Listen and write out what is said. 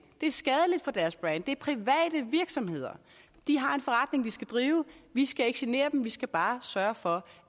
det er skadeligt for deres brand det er private virksomheder de har en forretning de skal drive og vi skal ikke genere dem vi skal bare sørge for